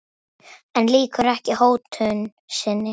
En lýkur ekki hótun sinni.